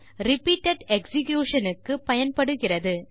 repeated execution க்கு பயன்படுகிறது